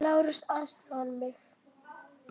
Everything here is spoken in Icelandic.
LÁRUS: Aðstoða mig!